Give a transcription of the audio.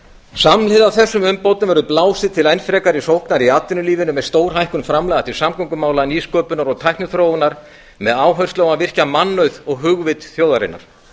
samhliða þessum umbótum verður blásið til enn frekari sóknar í atvinnulífinu með stórhækkun framlaga til samgöngumála nýsköpunar og tækniþróunar með áherslu á að virkja mannauð og hugvit þjóðarinnar